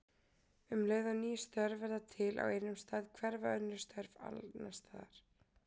Um leið og ný störf verða til á einum stað hverfa önnur störf annars staðar.